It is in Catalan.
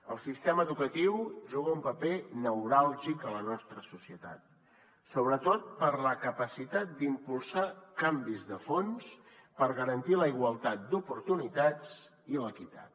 el sistema educatiu juga un paper neuràlgic a la nostra societat sobretot per la capacitat d’impulsar canvis de fons per garantir la igualtat d’oportunitats i l’equitat